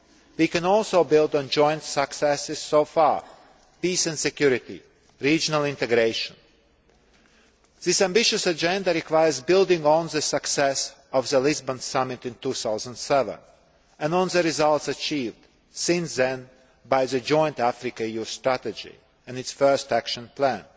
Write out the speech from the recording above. We can also build on joint successes so far peace and security, and regional integration. This ambitious agenda requires building on the success of the Lisbon Summit in 2007 and on the results achieved since then by the Joint Africa EU Strategy and its first action plan.